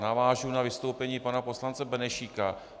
Navážu na vystoupení pana poslance Benešíka.